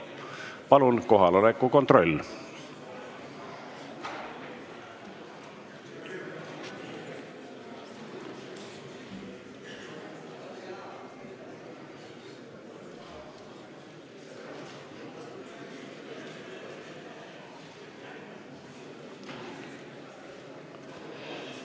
Palun kohaloleku kontroll!